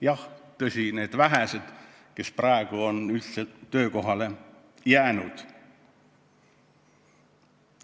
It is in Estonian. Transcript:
Jah, tõsi, need vähesed, kes praegu on saali jäänud, vahest on.